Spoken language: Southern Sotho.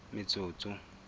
metsotso